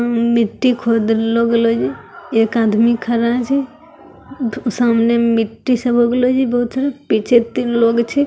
उन मिट्टी खोद लो एक आदमी खड़ा छे सामने मिट्टी छे भा गेलो छे बहुत सारा पीछे तीन लोग छे।